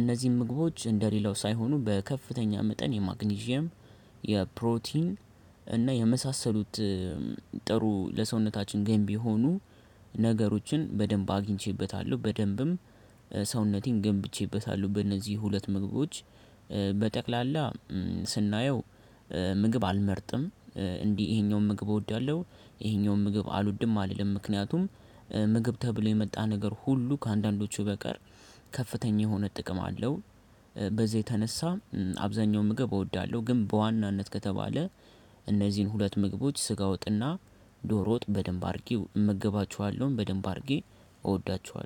እነዚህም ምግቦች እንደሌላው ሳይሆኑ በከፍተኛ መጠን የማግኒዥየም የፕሮቲን እና የመሳሰሉት ጥሩ ለሰውነታችን ገንቢ የሆኑ ነገሮችን በደንብ አግኝቼበታለሁ። በደንብም ሰውነቴን ገንብቼበታለሁ። በእነዚህ ሁለት ምግቦች በጠቅላላ ስናየው ምግብ አልመርጥም። እንዲህ ይሄኛውን ምግብ እወዳለሁ ይሄኛውን ምግብ አልውድም አልልም ምክንያቱም ምግብ ተብሎ የመጣ ነገር ሁሉ ከአንዳንዶቹ በቀር ከፍተኛ የሆነ ጥቅም አለው። በዛ የተነሳ አብዛኛውን ምግብ እወዳለሁ። ግን በዋናነት ከተባለ እነዚህን ሁለት ምግቦች ስጋ ወጥና ዶሮ ወጥ በደንብ አድርጌ እመገባችኋለሁም በደንብ አድርጌ እወዳችኋለሁ